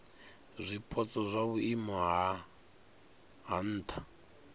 zwipotso zwa vhuimo ha nha